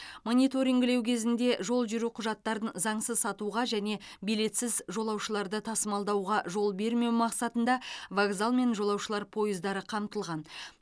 мониторингілеу кезінде жол жүру құжаттарын заңсыз сатуға және билетсіз жолаушыларды тасымалдауға жол бермеу мақсатында вокзал мен жолаушылар пойыздары қамтылған